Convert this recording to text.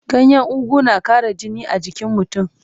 Ganyen ugu na ƙara jini a jikin mutum.